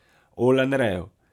O Lanreju.